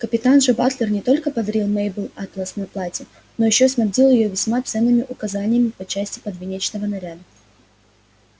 капитан же батлер не только подарил мейбелл атлас на платье но ещё снабдил её весьма ценными указаниями по части подвенечного наряда